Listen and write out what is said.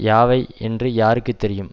யாவை என்று யாருக்கு தெரியும்